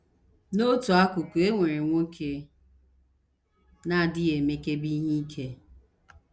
N’otu akụkụ, e nwere nwoke na - adịghị emekebe ihe ike.